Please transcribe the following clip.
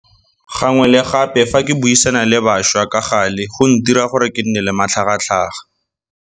Gangwe le gape fa ke buisana le bašwa ka gale go ntira gore kenne le matlhagatlhaga.